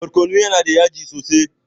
Barkono yana da yaji sosai.